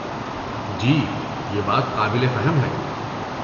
جی، یہ بات قابل فہم ہے۔